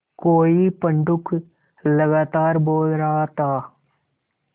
कोई पंडूक लगातार बोल रहा था